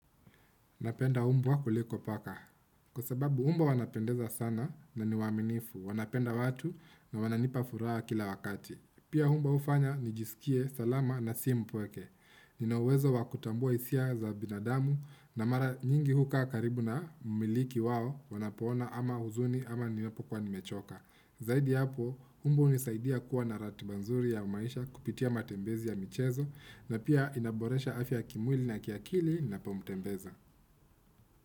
Napenda mbwa kuliko paka. Kwa sababu mbwa wanapendeza sana na ni waaminifu. Wanapenda watu na wananipa furaha kila wakati. Pia mbwa hufanya nijisikie salama na si mpweke. Ina uwezo wa kutambua hisia za binadamu na mara nyingi hukaa karibu na mmiliki wao wanapoona ana huzuni ama ninapokuwa nimechoka. Zaidi ya hapo, mbwa hunisaidia kuwa na ratiba nzuri ya maisha kupitia matembezi ya michezo na pia inaboresha afya ya kimwili na kiakili ninapomtembeza.